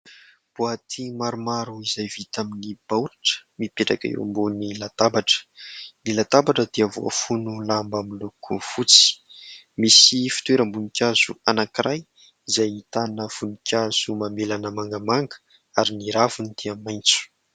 Boaty maromaro izay vita amin'ny baoritra mipetraka eo ambony latabatra. Ny latabatra dia voafono lamba izay miloko fotsy. Misy fitoeram-boninkazo anankiray izay ahitana voninkazo mamelana mangamanga ary ny raviny dia maitso.